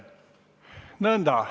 Nõnda.